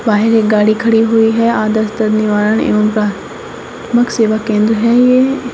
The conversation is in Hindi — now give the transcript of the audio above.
बाहर एक गाड़ी खड़ी हुई है आदर्श दर्द निवारण एवं का प्रा प्राथमिक मुख्य सेवा केंद्र है ये।